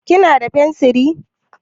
Kina da fensir?